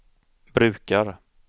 brukar